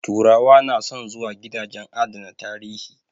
Turawa na son zuwa gidajen adana tarihi